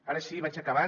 ara sí vaig acabant